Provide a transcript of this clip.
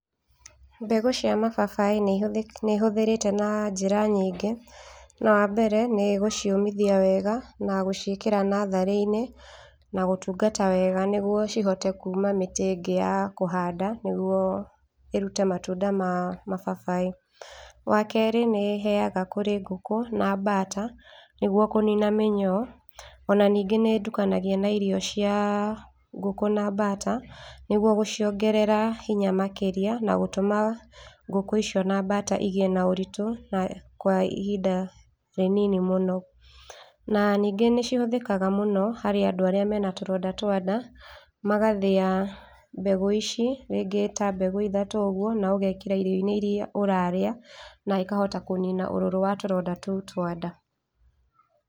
Mbegũ cia mababaĩ nĩ ihũthĩ, nĩ hũthĩrĩte na njĩra nyingĩ, na wa mbere nĩ gũciũmithia wega na gũciĩkĩra natharĩ-inĩ na gũtungata wega nĩguo cihote kũũma mĩtĩ ingĩ ya kũhanda nĩguo irute matunda ma mababaĩ. Wa kerĩ nĩ heaga kũrĩ ngũkũ na bata nĩgetha kũnina mĩnyoo, ona ningĩ nĩ ndukanagia na irio cia ngũkũ na bata, nĩguo gũciongerera hinya makĩria na gũtũma ngũkũ icio na bata igĩe na ũritũ na kwa ihinda inini mũno. Na ningĩ nĩ cĩhũthĩkaga mũno harĩ andũ aria mena tũronda twa ndaa, magathĩa mbegũ ici ringĩ ta mbegũ ithatũ ũguo na ũgekĩra irio-inĩ iria ũrarĩa na ikahota kũnina ũrũrũ wa tũronda tũu twa nda.